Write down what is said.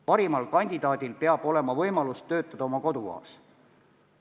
Parimal kandidaadil peab olema võimalus töötada oma kodukohas.